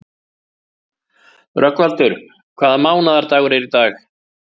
Rögnvaldur, hvaða mánaðardagur er í dag?